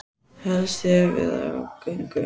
Helst ég haldist við á göngu.